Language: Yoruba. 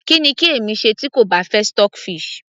kí ni kí èmi ṣe tí kò bá fẹ́ stockfish